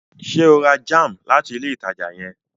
Ṣe o rà jam láti ilé ìtàjà yen?